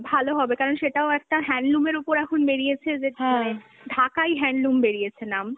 ভাল হবে কারন সেটাও একটা handloom এর ওপর এখন বেরিয়েছে হ্যাঁ যে মানে ঢাকাই handloom বেরিয়েছে নাম